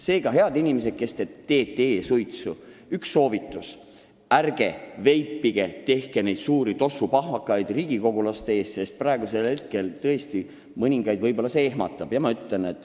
Seega, head inimesed, kes te teete e-suitsu, üks soovitus: ärge veipige, ärge tekitage neid suuri tossupahvakaid riigikogulaste ees, sest mõningaid see võib-olla ehmatab!